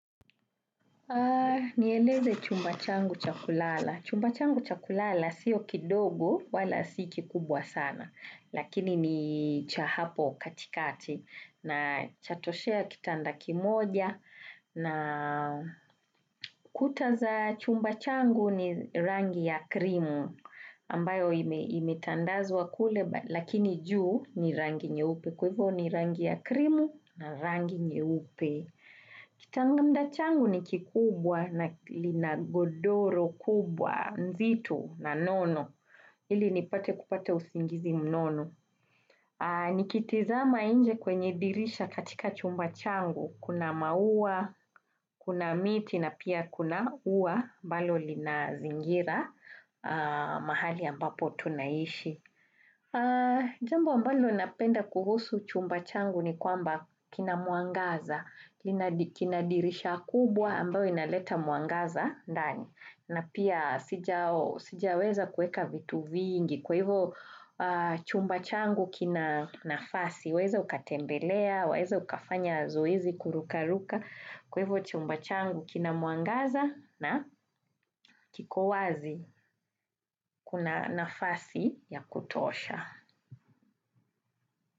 Nieleze chumba changu cha kulala. Chumba changu cha kulala sio kidogo wala si kikubwa sana lakini ni cha hapo katikati na chatoshea kitanda kimoja na kuta za chumba changu ni rangi ya krimu ambayo imetandazwa kule lakini juu ni rangi nyeupe kwa hivo ni rangi ya krimu na rangi nyeupe. Kitanda changu ni kikubwa na lina godoro kubwa mzito na nono, ili nipate kupata usingizi mnono. Nikitizama inje kwenye dirisha katika chumba changu, kuna mauwa, kuna miti na pia kuna uwa ambalo lina zingira mahali ambapo tunaishi. Jambo ambalo napenda kuhusu chumba changu ni kwamba kina mwangaza, kina dirisha kubwa ambayo inaleta mwangaza ndani, na pia sijaweza kueka vitu vingi, kwa hivo chumba changu kina nafasi, waeza ukatembelea, waeza ukafanya zoezi kuruka ruka, kwa hivo chumba changu kina mwangaza na kiko wazi kuna nafasi ya kutosha.